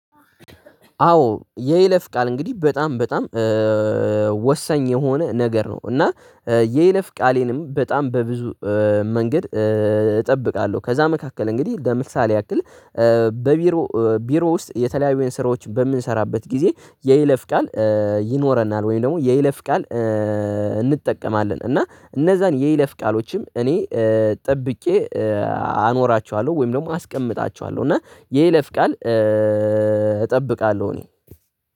አዎ የይለፍ ቃል እንግዲህ በጣም በጣም ወሳኝ የሆነ ነገር ነው። እና የይለፍ ቃሌንም በጣም በብዙ መንገድ እጠብቃለሁ። ከዛ መካከል እንግዲህ ለምሳሌ ያክል በቢሮ ቢሮ ውስጥ የተለያዩ የሰራዎችን በምንሰራበት ጊዜ የይለፍ ቃል ይኖረናል ወይም ደግሞ የይለፍ ቃል እንጠቀማለን። እና እነዛን የይለፍ ቃሎችም እኔ ጠብቄ አኖራቸዋለሁ ወይም ደግሞ አስቀምጣቸዋለሁ እና የይለፍ ቃል እጠብቃለሁ እኔ።